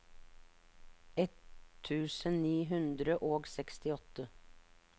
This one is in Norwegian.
ett tusen ni hundre og sekstiåtte